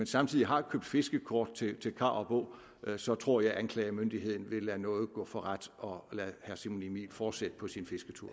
samtidig har købt fiskekort til karup å så tror jeg at anklagemyndigheden vil lade nåde gå for ret og lade herre simon emil fortsætte på sin fisketur